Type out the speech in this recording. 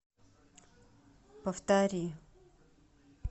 повтори